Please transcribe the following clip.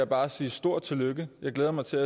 bare sige et stort tillykke jeg glæder mig til